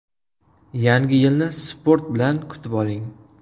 Yangi yilni sport bilan kutib oling!.